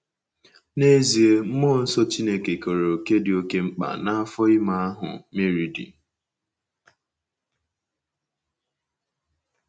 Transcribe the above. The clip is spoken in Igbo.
N’ezie, mmụọ nsọ Chineke keere òkè dị oké mkpa n’afọ ime ahụ Meri dị.